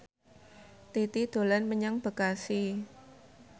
Titi dolan menyang Bekasi